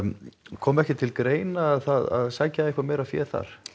kom ekki til greina að sækja meira fé þar